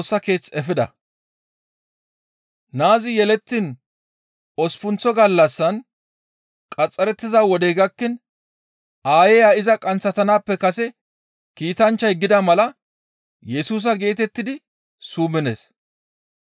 Naazi yelettiin osppunththa gallassan qaxxarettiza wodey gakkiin aayeya iza qanththatanaappe kase kiitanchchay gida mala Yesusa geetettidi summides.